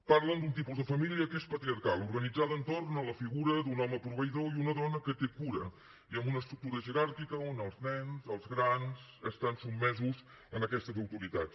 parlen d’un tipus de família que és patriarcal organitzada entorn a la figura d’un home proveïdor i una dona que té cura i amb una estructura jeràrquica on els nens els grans estan sotmesos a aquestes autoritats